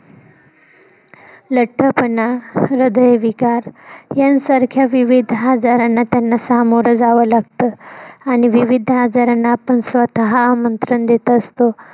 लठ्ठपणा, हृदय विकार यांसारख्या विविध आजारांना त्यांना सामोर जाव लागत आणि विविध आजारांना आपण स्वतः आमंत्रण देत असतो.